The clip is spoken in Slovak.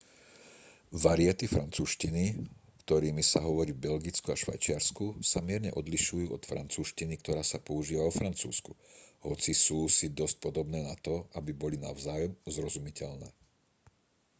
variety francúzštiny ktorými sa hovorí v belgicku a švajčiarsku sa mierne odlišujú od francúzštiny ktorá sa používa vo francúzsku hoci sú si dosť podobné na to aby boli navzájom zrozumiteľné